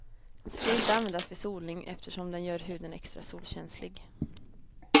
Ska inte användas vid solning eftersom den gör huden extra solkänslig.